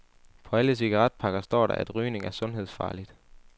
På alle cigaretpakker står der, at rygning er sundhedsfarligt.